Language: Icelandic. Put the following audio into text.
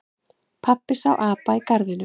Pabbi sá apa í garðinum.